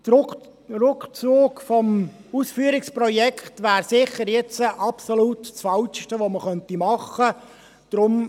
Der Rückzug des Ausführungsprojekts wäre jetzt sicher das absolut Falscheste, das man machen könnte.